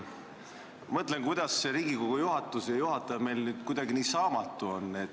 Ma mõtlen, kuidas see Riigikogu juhatus ja juhataja meil nüüd kuidagi nii saamatu on.